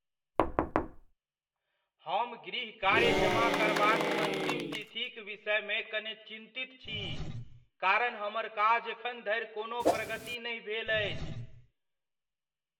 हम गृहकार्य जमा करबाक अन्तिम तिथिक विषयमे कने चिन्तित छी कारण हमर काज एखन धरि कोनो प्रगति नहि भेल अछि।